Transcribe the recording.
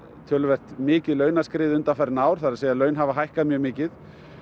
töluvert mikið launaskrið undanfarin ár það er að laun hafa hækkað mjög mikið